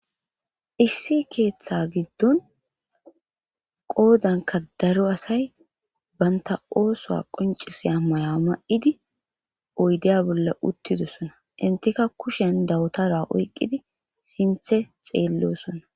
issi keeththa giddon qoodanka daro asay banta oosoa qoncisiya maya ma7idi oydeya bolla uttidosona intika kushen dawtara oyqqidi sinthe xeellosonna